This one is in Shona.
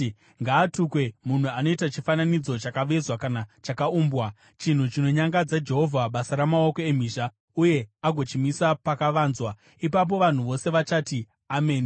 “Ngaatukwe munhu anoita chifananidzo chakavezwa kana chakaumbwa, chinhu chinonyangadza Jehovha, basa ramaoko emhizha, uye agochimisa pakavanzwa.” Ipapo vanhu vose vachati, “Ameni!”